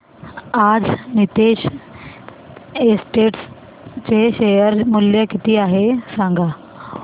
आज नीतेश एस्टेट्स चे शेअर मूल्य किती आहे सांगा